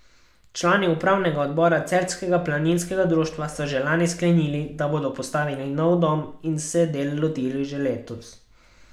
Člani upravnega odbora celjskega planinskega društva so že lani sklenili, da bodo postavili nov dom, in se del lotili že letos.